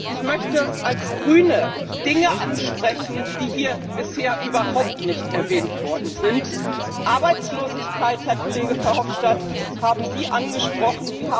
Ich möchte als Grüne Dinge ansprechen, die hier bisher überhaupt nicht erwähnt worden sind. Arbeitslosigkeit, Herr Kollege Verhofstadt, haben Sie angesprochen.